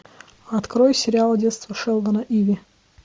открой сериал детство шелдона иви